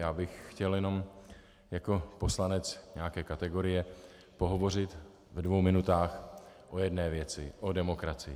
Já bych chtěl jenom jako poslanec nějaké kategorie pohovořit ve dvou minutách o jedné věci - o demokracii.